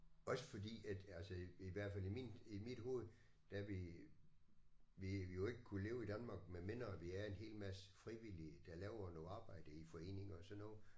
Også fordi at altså i hvert fald i min i mit hoved der vil ville vi jo ikke kunne leve i Danmark medmindre vi er en hel masse frivillige der laver noget arbejde i foreninger og sådan noget